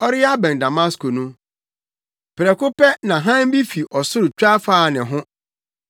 Ɔreyɛ abɛn Damasko no, prɛko pɛ na hann bi fi ɔsoro twa faa ne ho